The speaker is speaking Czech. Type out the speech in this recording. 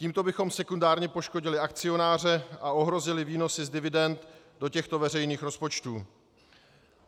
Tímto bychom sekundárně poškodili akcionáře a ohrozili výnosy z dividend do těchto veřejných rozpočtů.